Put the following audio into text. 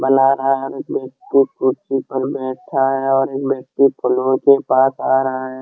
कुर्सी पर बैठा है और एक व्यक्ति फ्लोर के पास आ रहा है।